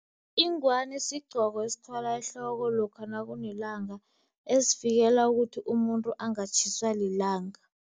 Ingwani sigqoko esithwalwa ehloko lokha nakunelanga, esivikela ukuthi umuntu angatjhiswa lilanga.